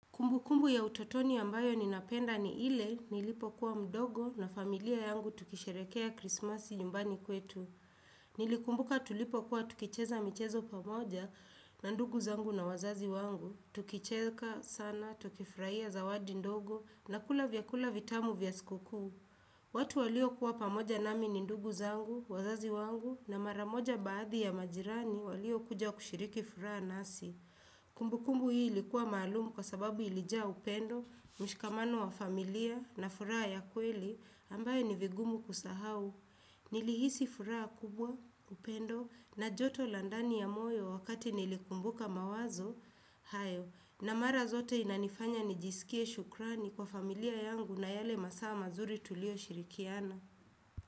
Kumbukumbu ya utotoni ambayo ninapenda ni ile nilipokuwa mdogo na familia yangu tukisherekea krismasi nyumbani kwetu. Nilikumbuka tulipokuwa tukicheza michezo pamoja na ndugu zangu na wazazi wangu. Tukicheka sana, tukifurahia zawadi ndogo na kula vyakula vitamu vya siku kuu. Watu waliokuwa pamoja nami ni ndugu zangu, wazazi wangu na mara moja baadhi ya majirani waliokuja kushiriki furaha nasi. Kumbukumbu hii likuwa maalum kwa sababu ilijaa upendo, mshikamano wa familia na furaha ya kweli ambayo ni vigumu kusahau. Nilihisi furaha kubwa, upendo na joto la ndani ya moyo wakati nilikumbuka mawazo, hayo na mara zote inanifanya nijisikie shukrani kwa familia yangu na yale masaa mazuri tuliyoshirikiana.